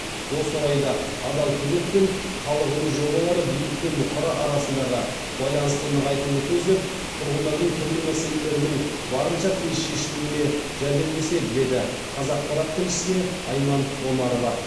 осы орайда адал көмек пен халық үні жобалары билік пен бұқара арасындағы байланысты нығайтуды көздеп тұрғындардың түрлі мәселелерінің барынша тез шешілуіне жәрдемдеседі деді қазақпарат тілшісіне айман омарова